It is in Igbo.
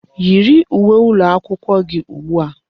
Yiri uwe ụlọakwụkwọ gị ugbu a!